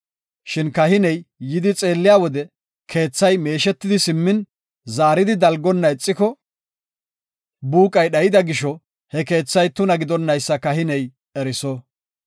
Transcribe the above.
“Shin kahiney yidi xeelliya wode keethay meeshetidi simmin, zaaridi dalgonna ixiko, buuqay dhayida gisho, he keethay tuna gidonaysa kahiney eriso.